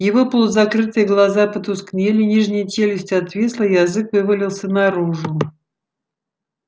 его полузакрытые глаза потускнели нижняя челюсть отвисла язык вывалился наружу